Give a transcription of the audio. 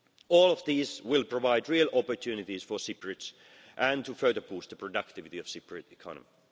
All of these will provide real opportunities for Cypriots and further boost the productivity of the Cypriot economy.